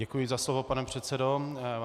Děkuji za slovo, pane předsedo.